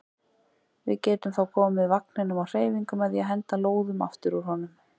Við getum þá komið vagninum á hreyfingu með því að henda lóðum aftur úr honum.